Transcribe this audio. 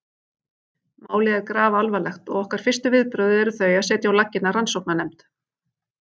Málið er grafalvarlegt og okkar fyrstu viðbrögð eru þau að setja á laggirnar rannsóknarnefnd.